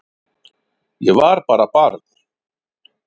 Ég var bara barn